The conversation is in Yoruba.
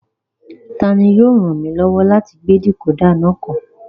Tani yóò ràn mí lọ́wọ́ láti gbé dìkódà náà kọ́?